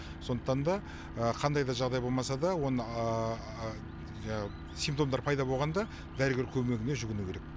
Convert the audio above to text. сондықтан да қандай да жағдай болмаса да оны симптомдар пайды болғанда дәрігер көмегіне жүгіну керек